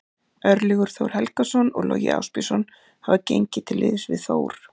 Örlygur Þór Helgason og Logi Ásbjörnsson hafa gengið til liðs við Þór.